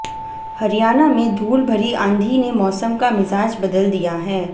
हरियाणा में धूल भरी आंधी ने मौसम का मिजाज बदल दिया है